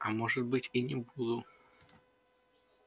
а может быть и не буду